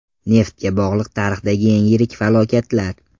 Neftga bog‘liq tarixdagi eng yirik falokatlar.